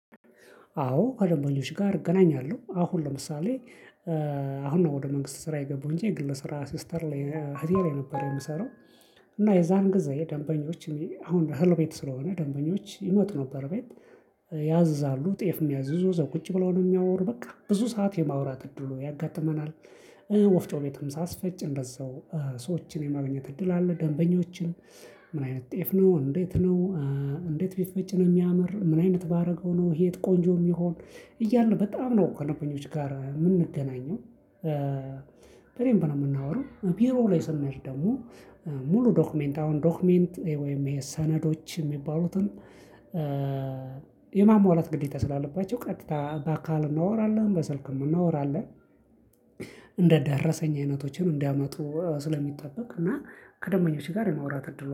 አዎ ከደንበኞች ጋር እገናኛለሁ። አሁን ለምሳሌ አሁን ነው ወደ መንግስት ስራ የገበሁ እንጂ የግል ስራ ሲስተር ላይ አህቴ ላይ ነበር የምሰራው። እና የዛን ጊዜ ደንበኞች አሁን እህል ቤት ስለሆነ ደንበኞች ይመጡ ነበር ቤት። ያዝዛሉ ጤፍ የምያዝዙ እዘው ቁጭ ብሎ ነው የሚያወሩ። በቃ ብዙ ሰዓት የማውራት እድል ያጋጥመናል። ወፍጮ ቤትም ሳስፈጭ እንደዛው ሰዎችን የማግኘት እድል አለ። ደንበኞችን ምን አይነት ጤፍ ነው፣ እንዴት ነው፣ እንዴት ቢፈጭን የሚያምር፣ ምን አይነት ባደርገው ነው እሄ ቆንጆ የሚሆን፣ እያሉ በጣም ነው ከደንበኞች ጋር የምንገናኘው። በደንብ ነው የምናወራው። ቢሮ ላይ ስንሄድ ደግሞ ሙሉ ዶክመንት አሁን ዶክመንት ወይም ይሄ ሰነዶች የሚባሉትን የማሟላት ግዴታ ስላለባቸው ቀጥታ በአካል እናወራለን፣ በሰልክ እናወራለን። እንደ ዳረሰኝ አይነቶችን እንዲያመጡ ስለሚጠበቅ እና ከደንበኞች ጋር የማውራት እድል